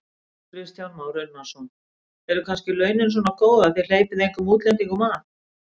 Kristján Már Unnarsson: Eru kannski launin svona góð að þið hleypið engum útlendingum að?